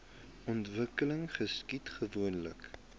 ontwikkeling geskied gewoonlik